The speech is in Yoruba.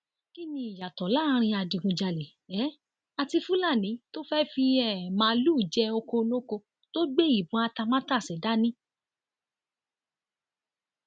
kín ni ìyàtọ láàrin adigunjalè um àti fúlàní tó fẹẹ fi um màálùú jẹ ọkọ olóko tó gbé ìbọn atamátàsé dání